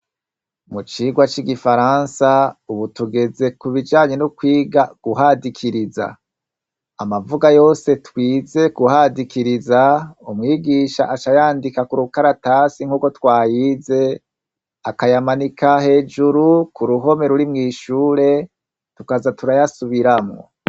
Mu cirwa c'igifaransa, ububtugeze kubijanyre no kwiga guhadikiriza. Amavuga yose twize guhadikiriza, umwigisha aca ayandika kurukaratasi nkuko twayize, akayamanika hejuru kuruhome ruri mw'ishure tukaza turayasubiramwo.